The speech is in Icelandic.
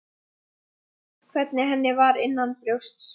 Alltaf sást hvernig henni var innanbrjósts.